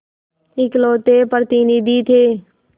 इकलौते प्रतिनिधि थे